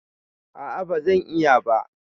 A a bazan iya ba.